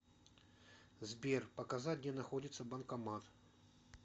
сбер показать где находится банкомат